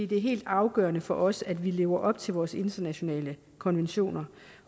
det er helt afgørende for os at vi lever op til vores internationale konventioner